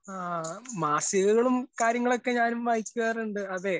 ഹാ മാസികകളും കാര്യങ്ങളും ഒക്കെ ഞാനും വായിക്കാറുണ്ട്. അതേ